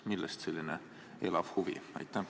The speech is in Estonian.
Millest selline elav huvi?